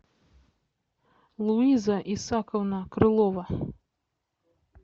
луиза исаковна крылова